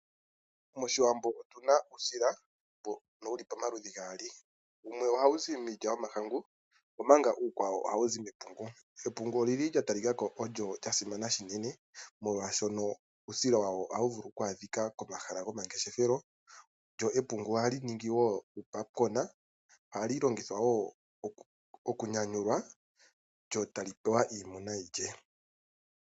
Moshiwambo otuna mo uusila mboka wuli pamaludhi gaali .Otuna uusila womahangu nosho woo momapungu .Oomapungu ogeli gatali kako ogo gasimana shinene molwashoka uusila wawo ohawu vulu okwadhikwa komahala komalandithilo .Go ohaga ningi woo uupapukona ohaga longithwa woo okunyanyulwa etaga pewa iimuna yiilye.